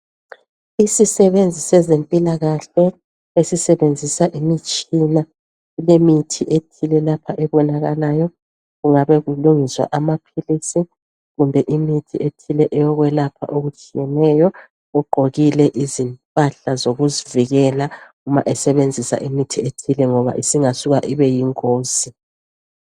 Isisebenzi sezempila kahle esisebenzisa imitshina kulemithi ethile lapha ebonakalayo kungaba kulungiswa amaphilisi kumbe imithi ethile eyokwelapha okutshiyeneyo uqgokile izimpahla zokuzivikela uma esebenzisa imithi ethile ngoba isingasuka ibeyingozi